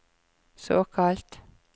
såkalt